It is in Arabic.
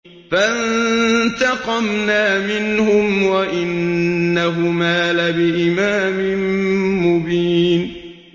فَانتَقَمْنَا مِنْهُمْ وَإِنَّهُمَا لَبِإِمَامٍ مُّبِينٍ